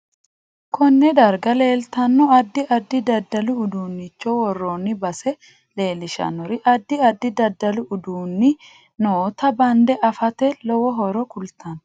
Konne darga leeltanno addi addi daddalu uduunicho worooni base leelishanori addi addi daddalu uduunixhi noota bande afate lowo horo kultanno